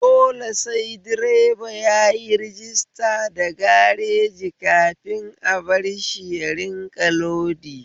Dole sai direba yayi rajista da gareji kafin a barshi ya rinƙa lodi